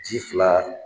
Ji fila